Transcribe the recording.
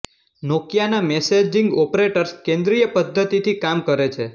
નોકિયાના messaging operators કેન્દ્રીય પદ્ધતિથી કામ કરે છે